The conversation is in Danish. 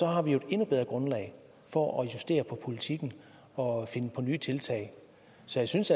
har vi jo et endnu bedre grundlag for at justere på politikken og finde på nye tiltag så jeg synes